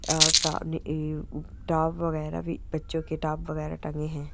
और top top वैगरह भी बच्चो के टॉप वैगरह भी टंगे है।